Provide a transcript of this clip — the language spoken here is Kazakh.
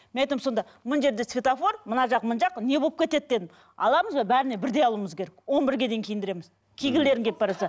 мен айтамын сонда мына жерде светофор мына жақ мына жақ не болып кетеді деді аламыз ба бәріне бірдей алуымыз керек он бірге дейін киіндіреміз кигілерің келіп баратса